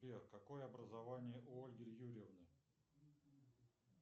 сбер какое образование у ольги юрьевны